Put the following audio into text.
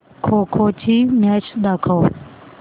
खो खो ची मॅच दाखव